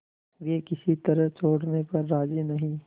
वे किसी तरह छोड़ने पर राजी नहीं